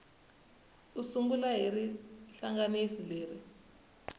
u sungula hi rihlanganisi leri